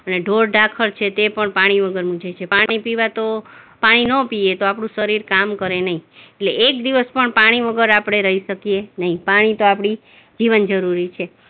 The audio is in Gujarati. ને ઢોર-ઢાંખર છે તે પણ પાણી વગર છે, પાણી પીવા તો, પાણી નો પીએ તો આપણું શરીર કામ કરે નઈ, એટલે એક દિવસ પણ પાણી વગર આપણે રઈ શકીએ નઈ, પાણી તો આપણી જીવનજરૂરી છે.